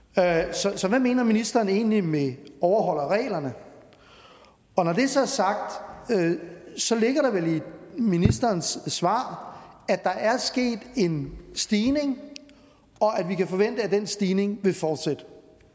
så så hvad mener ministeren egentlig med at overholde reglerne når det så er sagt ligger der vel i ministerens svar at der er sket en stigning og at vi kan forvente at den stigning vil fortsætte